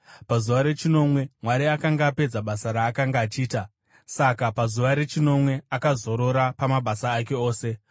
Pazuva rechinomwe Mwari akanga apedza basa raakanga achiita; saka pazuva rechinomwe akazorora pamabasa ake ose.